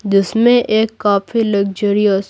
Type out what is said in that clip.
जिसमें एक काफी लग्जरियस --